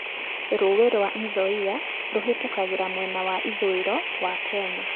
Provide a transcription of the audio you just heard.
Rũũĩ rwa Nzoia rũhĩtũkagĩra mwena wa ithũĩro wa Kenya.